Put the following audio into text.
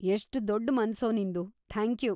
ಎಷ್ಟ್ ದೊಡ್‌ ಮನ್ಸೋ ನಿಂದು, ಥ್ಯಾಂಕ್ಯೂ.